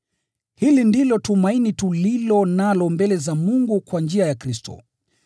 Hili ndilo tumaini tulilo nalo mbele za Mungu kwa njia ya Kristo.